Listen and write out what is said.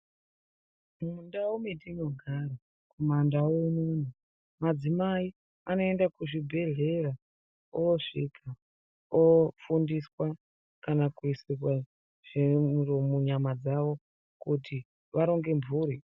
Mundau dzetinogara kumandau unono madzimai anoenda kuzvibhedhlera osviika ofundiswa kana kuisirwe zviro munyama dzavo kuti varonge mburi.